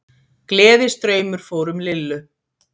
Gleðistraumur fór um Lillu.